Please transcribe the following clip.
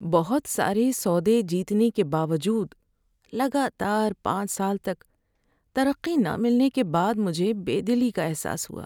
بہت سارے سودے جیتنے کے باوجود لگاتار پانچ سال تک ترقی نہ ملنے کے بعد مجھے بے دلی کا احساس ہوا۔